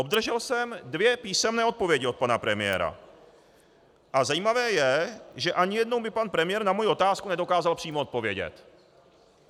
Obdržel jsem dvě písemné odpovědi od pana premiéra a zajímavé je, že ani jednou mi pan premiér na moji otázku nedokázal přímo odpovědět.